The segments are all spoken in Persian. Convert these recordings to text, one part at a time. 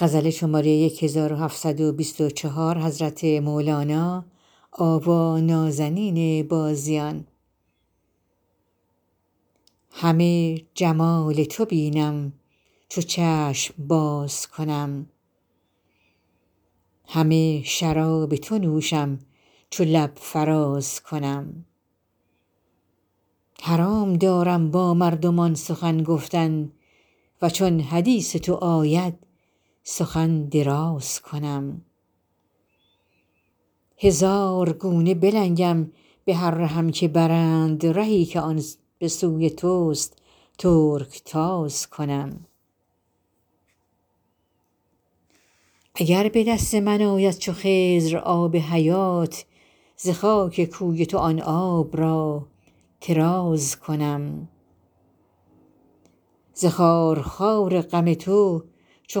همه جمال تو بینم چو چشم باز کنم همه شراب تو نوشم چو لب فراز کنم حرام دارم با مردمان سخن گفتن و چون حدیث تو آید سخن دراز کنم هزار گونه بلنگم به هر رهم که برند رهی که آن به سوی تو است ترک تاز کنم اگر به دست من آید چو خضر آب حیات ز خاک کوی تو آن آب را طراز کنم ز خارخار غم تو چو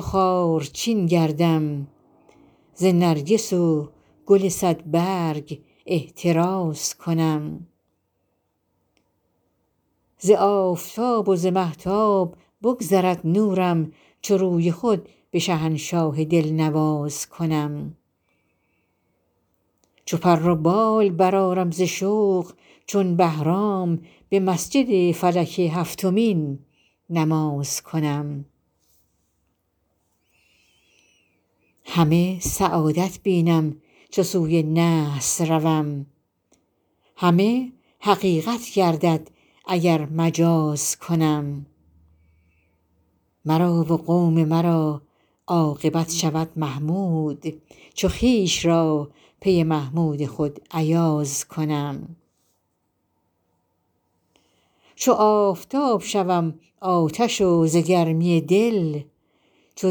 خارچین گردم ز نرگس و گل صدبرگ احتراز کنم ز آفتاب و ز مهتاب بگذرد نورم چو روی خود به شهنشاه دلنواز کنم چو پر و بال برآرم ز شوق چون بهرام به مسجد فلک هفتمین نماز کنم همه سعادت بینم چو سوی نحس روم همه حقیقت گردد اگر مجاز کنم مرا و قوم مرا عاقبت شود محمود چو خویش را پی محمود خود ایاز کنم چو آفتاب شوم آتش و ز گرمی دل چو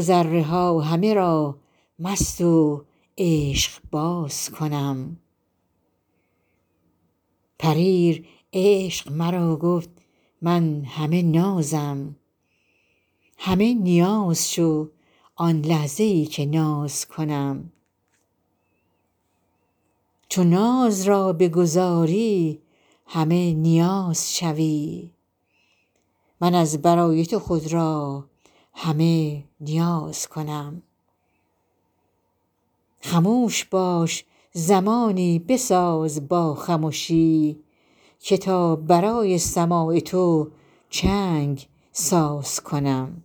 ذره ها همه را مست و عشقباز کنم پریر عشق مرا گفت من همه نازم همه نیاز شو آن لحظه ای که ناز کنم چو ناز را بگذاری همه نیاز شوی من از برای تو خود را همه نیاز کنم خموش باش زمانی بساز با خمشی که تا برای سماع تو چنگ ساز کنم